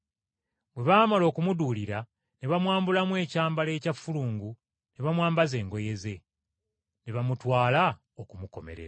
Bwe baamala okumuduulira, ne bamwambulamu ekyambalo ekya ffulungu ne bamwambaza engoye ze, ne bamutwala okumukomerera.